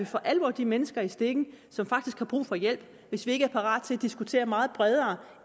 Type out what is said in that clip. for alvor de mennesker i stikken som faktisk har brug for hjælp hvis vi ikke er parate til at diskutere meget bredere